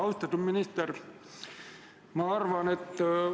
Austatud minister!